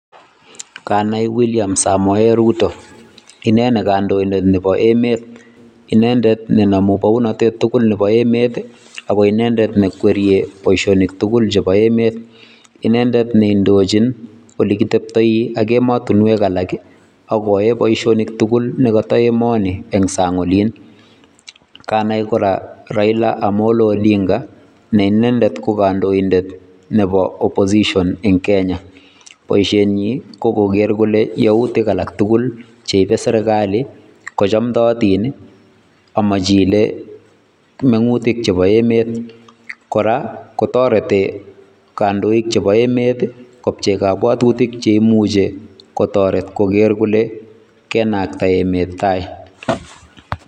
Nganai William samoe Ruto inei ko kandoindet nebo emet inendet ne namuu baunandet tugul nebo emeet ii ako inendet neikwerie boisionik tugul chebo emet, inendet ne indochiin ole kiteptai ak ematinweek alaak koyae boisionik tugul nekatai emani eng saang oliin kanai kora Raila omollo odinga ne inendet ko kandoindet nebo oppossion en Kenya, boisiet nyiin ko koger kole yautiik alaak tugul cheibee serikali ko chamtayaatiin ii ako machine mengutiik chebo emeet, kora kotaretii kandoinik chebo emet kopchei akili chekimuchei kotaretiin kole konaktai emeet tai.